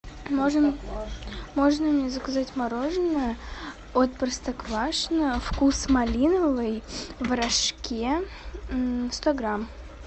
можно можно мне заказать мороженное от простоквашино вкус малиновый в рожке сто грамм